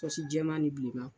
jɛma ni bilema.